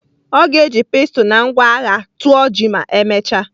Ọ ga-eji pestle na ngwa agha tụọ ji ma emechaa.